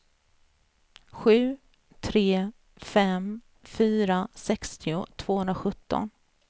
sju tre fem fyra sextio tvåhundrasjutton